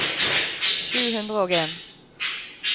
sju hundre og en